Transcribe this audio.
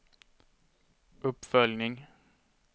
uppföljning